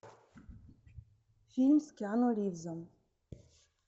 фильм с киану ривзом